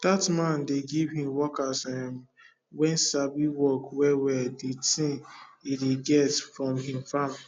that man dey give him workers um wen sabi work well well the thing e dey get from him farm